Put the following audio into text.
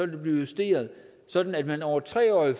det blive justeret sådan at man over et tre årig